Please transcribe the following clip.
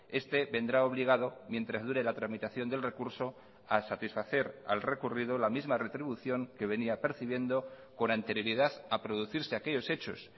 este vendrá obligado mientras dure la tramitación del recurso a satisfacer al recurrido la misma retribución que venía percibiendo con anterioridad a producirse aquellos hechos